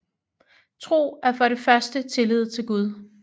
Tro er for det første tillid til Gud